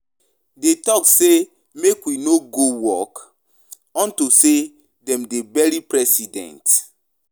Dey talk say make we no go work unto say dem dey bury President.